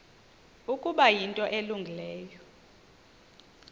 ukuba yinto elungileyo